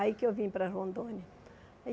Aí que eu vim para Rondônia.